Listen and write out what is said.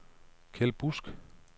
Kjeld Busk